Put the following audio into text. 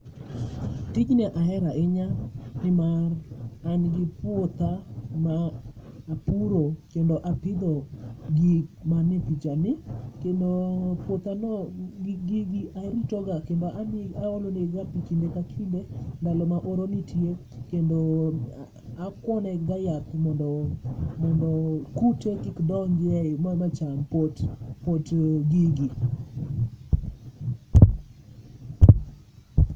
Tijni ahera ahinya nimar an gi puotha ma apuro kendo apidho gik mane pichani. Kendo puothano gi gigi aritoga, kendo ami, aolonegiga pi kinde ka kinde ndalo ma oro nitie. Kendo akwone ga yath mondo, mondo kute kik donjie ma cham pot, pot gigi.